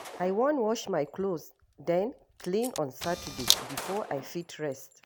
I wan wash my clothes den clean on Saturday before I fit rest.